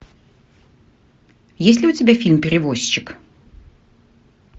есть ли у тебя фильм перевозчик